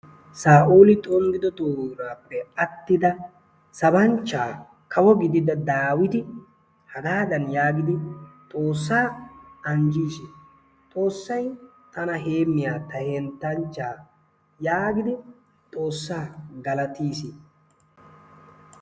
saa'ooli xonggido toorappe aattida sabanchchaa kawo giidida dawiiti hagaadan yaagidi xoossaa anjjiis. xoossay tana heemmiyaa ta heenttanchchaa yaagidi xoossaa galatiis.